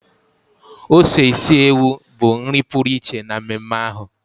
ose isi ewu bụ nri pụrụ iche na mmemme ahụ.